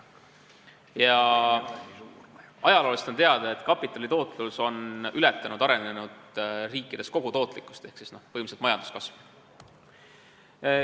Ja ajaloost on teada, et arenenud riikides on kapitali tootlus ületanud kogutootlikkust ehk siis põhimõtteliselt majanduskasvu.